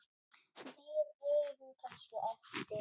Við eigum kannski eftir.